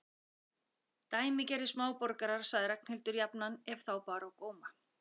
Dæmigerðir smáborgarar sagði Ragnhildur jafnan ef þá bar á góma.